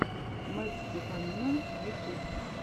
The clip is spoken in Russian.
мэтт стеффанина ютюб